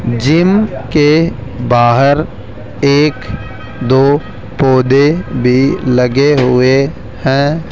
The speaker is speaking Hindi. जिम के बाहर एक दो पौधे भी लगे हुए हैं।